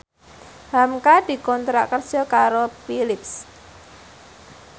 hamka dikontrak kerja karo Philips